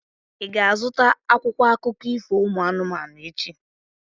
Ị ga-azụta akwụkwọ akụkọ ifo ụmụ anụmanụ echi?